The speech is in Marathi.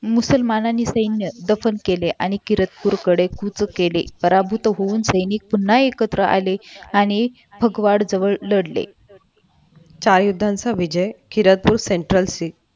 मुसलमानाने सैन्य दफन केले आणि किरतपूरकडे गुत केले पराभूत होऊन सैनिक पुन्हा एकत्र आले आणि भगवान जवळ लढले चार युद्धांचा विजय किरतपूर सेंट्रल सी